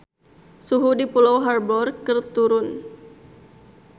Suhu di Pulau Harbour keur turun